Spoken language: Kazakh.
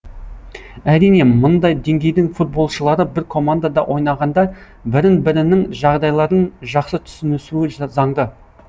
әрине мындай деңгейдің футболшылары бір командада ойнағанда бірін бірінің жағдайларын жақсы түсінісуі заңды